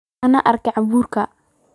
Aan arko abuurkaaga.